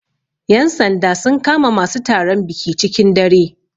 Yan sanda sun kama masu taron biki cikin dare